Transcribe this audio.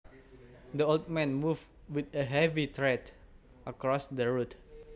The old man moved with heavy tread across the road